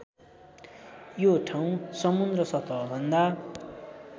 यो ठाउँ समुद्र सतहभन्दा